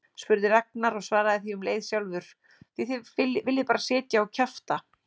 spurði Ragnar og svaraði því um leið sjálfur: Því þið viljið bara sitja og kjafta